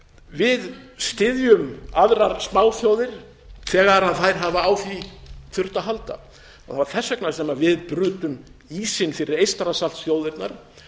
við styðjum aðrar smáþjóðir þegar þær hafa á því þurft að halda það var þess vegna sem við brutum ísinn fyrir eystrasaltsþjóðirnar